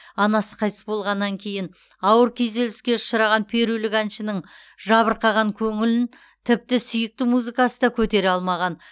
анасы қайтыс болғаннан кейін ауыр күйзеліске ұшыраған перулік әншінің жабырқаған көңілін тіпті сүйікті музыкасы да көтере алмаған